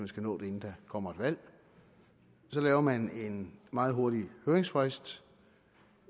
skal nås inden der kommer valg så laver man en meget hurtig høringsfrist